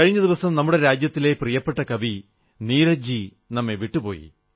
കഴിഞ്ഞ ദിവസം നമ്മുടെ രാജ്യത്തെ പ്രിയപ്പെട്ട കവി നീരജ് ജി നമ്മെ വിട്ടു പോയി